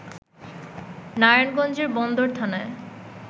নারায়ণগঞ্জের বন্দর থানার